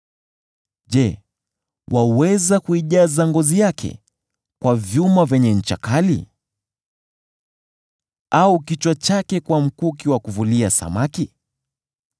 Je, waweza kuijaza ngozi yake kwa vyuma vyenye ncha kali, au kichwa chake kwa mkuki wa kuvulia samaki?